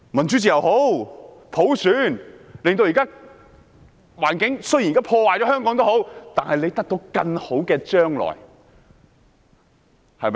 即使香港現時的環境被破壞，大家仍會得到更好的將來，對嗎？